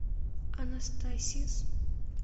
анастасис